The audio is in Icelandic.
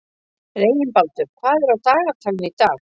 Reginbaldur, hvað er á dagatalinu í dag?